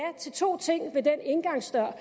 til to ting ved den indgangsdør